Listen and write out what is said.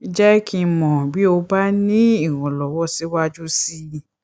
jẹ kí n mọ bí o bá ní ìrànlọwọ síwájú sí i